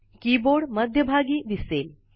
keyboard मध्यभागी दिसेल